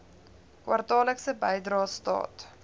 kwartaallikse bydrae staat